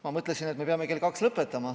Ma mõtlesin, et me peame kell kaks lõpetama.